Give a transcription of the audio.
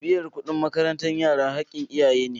Biyan kuɗin makarantar yara haƙƙin iyaye ne.